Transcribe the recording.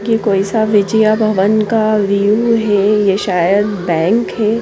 की कोई सा विचिया भवन का व्यू है ये सायद बैंक है।